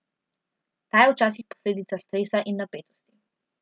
Ta je včasih posledica stresa in napetosti.